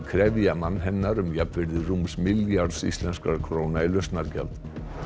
krefja mann hennar um jafnvirði rúms milljarðs íslenskra króna í lausnargjald